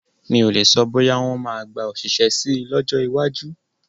Mi o le sọ, bóyá wọn máa gba òṣìṣẹ́ síi lọ́jọ́ iwájú